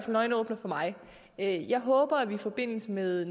en øjenåbner for mig jeg jeg håber at vi i forbindelse med